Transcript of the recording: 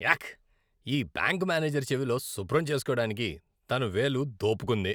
యాక్. ఈ bank manager చెవిలో శుభ్రం చేసుకోడానికి తన వేలు దోపుకుంది.